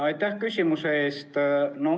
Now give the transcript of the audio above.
Aitäh küsimuse eest!